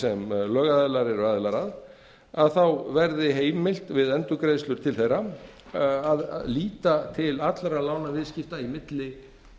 sem lögaðilar eru aðilar að verði heimilt við endurgreiðslu til þeirra að líta til allra lánaviðskipta í milli